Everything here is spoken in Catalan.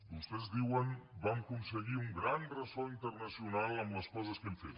vostès diuen vam aconseguir un gran ressò internacional amb les coses que hem fet